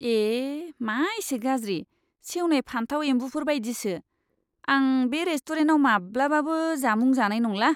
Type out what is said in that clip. ए! मा एसे गाज्रि! सेवनाय फानथाव एम्बुफोर बायदिसो, आं बे रेस्टुरेन्टाव माब्लाबाबो जामुं जानाय नंला!